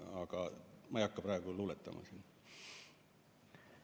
Aga ma ei hakka praegu siin luuletama.